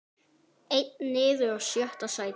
Einn niður og sjötta sætið.